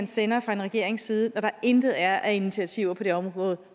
sende fra en regerings side at der intet er af initiativer på det område